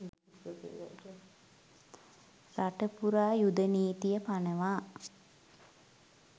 රට පුරා යුධ නීතිය පනවා